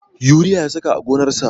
Yuriya ya saka a gonarsa